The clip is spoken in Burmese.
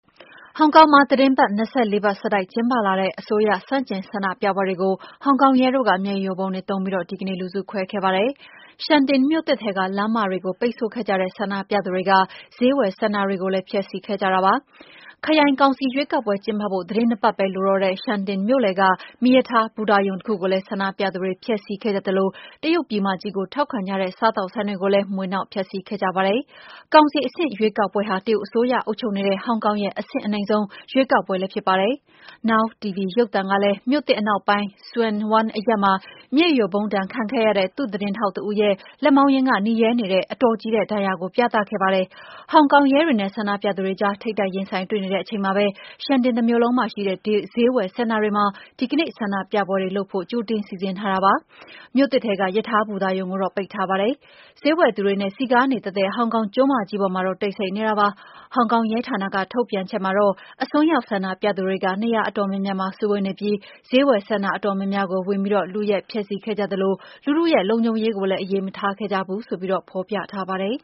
ဟောင်ကောင်မှာ သီတင်းပတ် ၂၄ ပတ်ဆက်တိုက် ကျင်းပလာတဲ့ အစိုးရဆန့်ကျင် ဆန္ဒပြပွဲတွေကို ဟောင်ကောင်ရဲတို့က မျက်ရည်ယိုဗုံးတွေသုံးပြီး ဒီကနေ့ လူစုခွဲခဲ့ပါတယ်။ Sha Tin မြို့သစ်ထဲက လမ်းမတွေကို ပိတ်ဆို့ခဲ့ကြတဲ့ ဆန္ဒပြသူတွေက ဈေးဝယ်စင်တာတွေကိုလည်း ဖျက်ဆီးခဲ့ကြတာပါ။ ခရိုင်ကောင်စီရွေးကောက်ပွဲ ကျင်းပဖို့ သီတင်း ၂ ပတ်ပဲ လိုတော့တဲ့ Sha Tin မြို့လယ်က မီးရထားဘူတာရုံတခုကိုလည်း ဆန္ဒပြသူတွေ ဖျက်ဆီးခဲ့သလို တရုတ်ပြည်မကြီးကို ထောက်ခံကြတဲ့ စားသောက်ဆိုင်တွေကိုလည်း မွှေနှောက် ဖျက်ဆီးခဲ့ကြပါတယ်။ ကောင်စီအဆင့် ရွေးကောက်ပွဲဟာ တရုတ်အစိုးရ အုပ်ချုပ်နေတဲ့ ဟောင်ကောင်ရဲ့ အဆင့်အနိမ့်ဆုံး ရွေးကောက်ပွဲလည်း ဖြစ်ပါတယ်။ Now TV ရုပ်သံကလည်း မြို့သစ်အနောက်ပိုင်း Tsuen Wan အရပ်မှာ မျက်ရည်ယိုဗုံးဒဏ် ခံခဲ့ရတဲ့ သူ့သတင်းထောက်တဦးရဲ့ လက်မောင်းရင်းက နီရဲနေတဲ့ အတော်ကြီးတဲ့ ဒဏ်ရာကို ပြသခဲ့ပါတယ်။ ဟောင်ကောင်ရဲတွေနဲ့ ဆန္ဒပြသူတွေကြား ထိပ်တိုက်ရင်ဆိုင် တွေ့နေတဲ့ အချိန်မှာပဲ Sha Tin တမြို့လုံးမှာရှိတဲ့ ဈေးဝယ်စင်တာတွေမှာ ဒီကနေ့ ဆန္ဒပြပွဲတွေလုပ်ဖို့ ကြိုတင်စီစဉ်ထားတာပါ။ မြို့သစ်ထဲက ရထားဘူတာရုံကတော့ ပိတ်ထားပါတယ်။ ဈေးဝယ်သူတွေနဲ့ စည်ကားနေတတ်တဲ့ ဟောင်ကောင်ကျွန်းမကြီးပေါ်မှာတော့ တိတ်ဆိတ်နေပါတယ်။ ဟောင်ကောင်ရဲဌာနက ထုတ်ပြန်ချက်မှာတော့ အစွန်းရောက် ဆန္ဒပြသူတွေက နေရာအတော်များများမှာ စုဝေးနေပြီး ဈေးဝယ်စင်တာ အတော်များများကို ဝင်ပြီး လုယက်ဖျက်ဆီးခဲ့ကြသလို လူထုရဲ့ လုံခြုံရေးကိုလည်း အရေးမထားခဲ့ကြဘူးဆိုပြီး ဖော်ပြထားပါတယ်